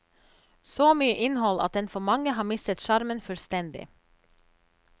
Så mye innhold at den for mange har mistet sjarmen fullstendig.